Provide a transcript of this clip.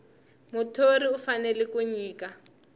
muthori u fanele ku nyika